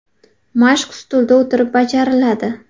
Mashq stulda o‘tirib bajariladi.